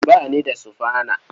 Ba ni da sufana.